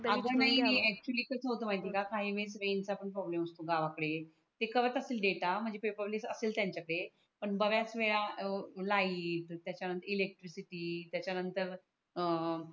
actually कस असत माहिती आहे का काही वळेस रांझ पण प्रोब्लेम असतो गावा कडे ते करत असती डेटा म्हणजे पेपरलेस असेल त्यांच्या कडे पण बऱ्याच वेळा लेइट त्याच्या नंतर इलेक्ट्रीक त्याच्या नंतर अं